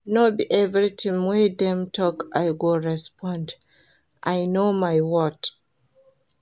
No be everytin wey dem tok I go respond, I know my worth.